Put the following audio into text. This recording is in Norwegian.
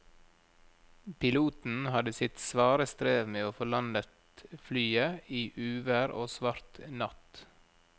Piloten hadde sitt svare strev med å få landet flyet i uvær og svart natt.